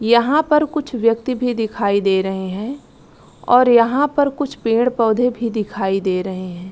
यहाँ पर कुछ व्यक्ति भी दिखाई दे रहे है और यहाँ पर कुछ पेड़-पौधे भी दिखाई दे रहे है।